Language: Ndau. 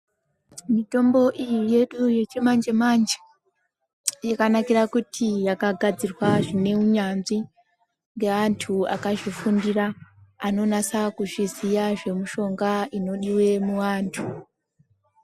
Mitombo yedu iyi yechimanje manje yakanakira pakutiakagadzirwa zveunyanzvi ngeantu akazvifundira anonasa kuzviziya zvemishonga inodiwa muantu.